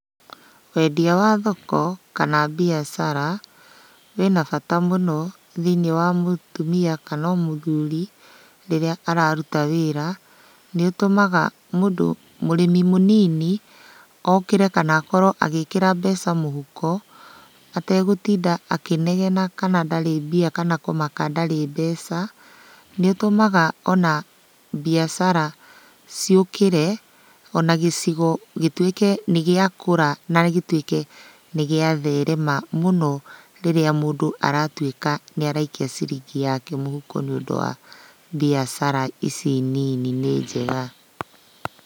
Wendia wa thoko kana mbiacara, wĩna bata mũno thĩiniĩ wa mũtumia kana o mũthuri rĩrĩa araruta wĩra. Nĩũtũmaga mũndũ mũrĩmi mũnini, okĩre kana akorwo agĩkĩra mbeca mũhuko, ategũtinda akĩnegena kana ndarĩ mbia kana kũmaka ndarĩ mbeca. Nĩũtũmaga ona mbiacara ciũkĩre, ona gĩcigo gĩtuĩke nĩgĩakũra ona gĩtuĩke nĩgĩatherema mũno rĩrĩa mũndũ aratuĩka nĩaraikia ciringi yake mũhuko nĩũndũ wa mbiacara ici nini nĩ njega.